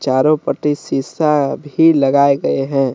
चारों पट्टी शीशा भी लगाए गए है।